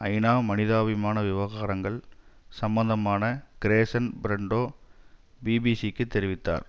ஐநா மனிதாபிமான விவகாரங்கள் சம்பந்தமான கிரேசன் பிரன்டோ பிபிசி க்குத் தெரிவித்தார்